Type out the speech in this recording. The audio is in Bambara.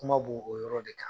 Kuma b' o yɔrɔ de kan.